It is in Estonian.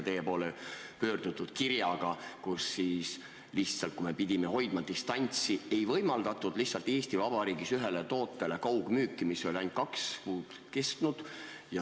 Teie poole pöörduti kirjaga, kus öeldi, et kui me pidime hoidma distantsi, ei võimaldatud lihtsalt Eesti Vabariigis ühele tootele enam kaugmüüki, mis oli ainult kaks kuud kestnud.